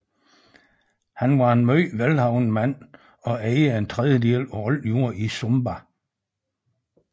Han var en meget velhavende mand og ejede en tredjedel af al jord i Sumba